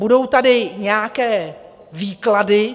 Budou tady nějaké výklady.